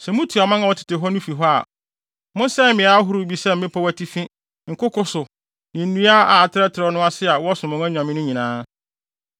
Sɛ mutu aman a wɔtete hɔ no fi hɔ a, mosɛe mmeae ahorow bi sɛ mmepɔw atifi, nkoko so, ne nnua a atrɛtrɛw no ase a wɔsom wɔn anyame no nyinaa.